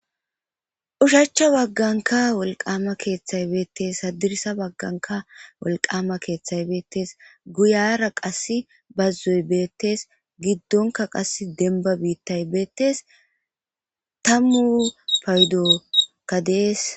ushacha bagganka wolqama keeththay beettes hadirisa bagganka wolqama keeththay beettes guyara qas bazzoy beettes giddonka qas denba biittay beettes tammu pawudokka dees